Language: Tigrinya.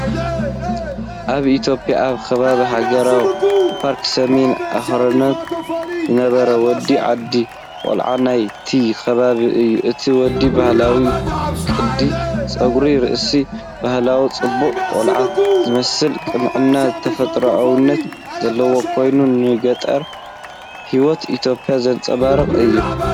ኣብ ኢትዮጵያ ኣብ ከባቢ ሃገራዊ ፓርክ ሰሜናዊ ኣኽራናት ዝነብር ወዲ ዓዲ / ቆልዓ ናይቲ ከባቢ እዩ። እቲ ወዲ ባህላዊ ቅዲ ጸጉሪ ርእሲ፡ ባህላዊ ጽባቐ፡ ቆልዓ ዝመስል ቅንዕናን ተፈጥሮኣውነትን ዘለዎ ኮይኑ፡ ንገጠር ህይወት ኢትዮጵያ ዘንጸባርቕ እዩ።